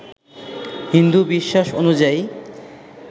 হিন্দু বিশ্বাস অনুযায়ী